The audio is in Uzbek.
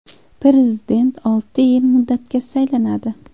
Prezident olti yil muddatga saylanadi.